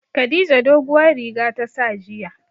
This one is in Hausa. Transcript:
Khadija doguwar riga ta sa jiya.